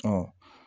Ɔ